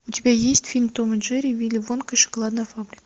у тебя есть фильм том и джерри вилли вонка и шоколадная фабрика